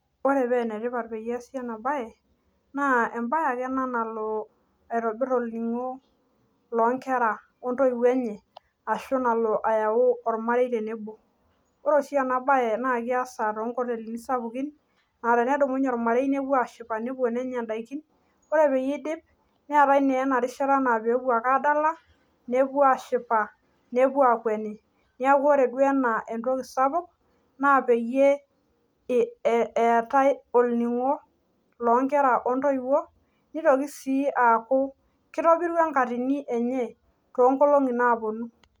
ore paa ene tipat naa ebae ekane nalo aitobir oning'o loo inkera ontowuo enye ashu nalo ayau olmarei tenebo ore oshi ena baye naa keesa too inkoteli sapuki naa ketoni olmarei nenya idaikin neetae naa enarishata naa pee epuo ake adala nepuo ashipa nepuo aakweni, naa peyie etae oning'o loo inkera ontoiwuo nitoki sii aaku kitobiru ankatini enye too inkolong'i naa puonu.